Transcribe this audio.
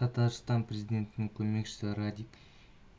татарстан президентінің көмекшісі радик